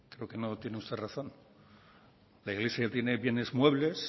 creo que no tiene usted razón la iglesia tiene bienes muebles